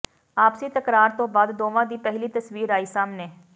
ਆਪਸੀ ਤਕਰਾਰ ਤੋਂ ਬਾਅਦ ਦੋਵਾਂ ਦੀ ਪਹਿਲੀ ਤਸਵੀਰ ਆਈ ਸਾਹਮਣੇ